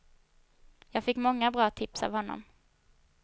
Jag fick många bra tips av honom.